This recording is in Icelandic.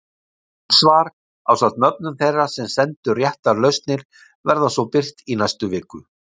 Rétt svar ásamt nöfnum þeirra sem sendu réttar lausnir verða svo birt í næstu viku.